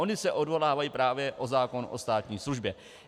Oni se odvolávají právě na zákon o státní službě.